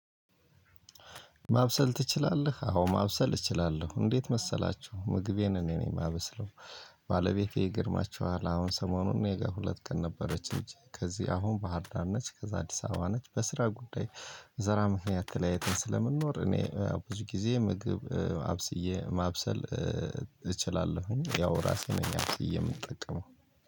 ማብሰል ትችላለህ? አዎ ማብሰል እችላለሁ። እንዴት መሰላችሁ ምግቤን እኔ ነኝ የማበስለው። ባለቤቴ ይገርማቹሀል አሁን ሰሞኑን እኔ ጋር ሁለት ቀን ነበረች እንጂ፤ ከዚህ አሁን ባህርዳር ነች። ከዛ አዲስ አበባ ነች በስራ ጉዳይ በስራ ምክንያት ተለያይተን ስለምንኖር እኔ ብዙ ጊዜ ምግብ አብስዬ ማብሰል እችላለሁኝ። ያው ራሴ ነኝ አብስዬ የምጠቀመው